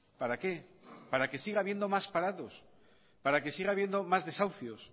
para qué para que siga habiendo más parados para que siga habiendo más desahucios